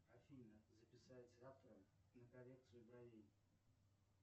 афина записать завтра на коррекцию бровей